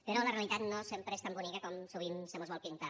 però la realitat no sempre és tan bonica com sovint se mos vol pintar